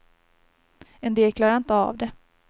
En del klarade inte av det.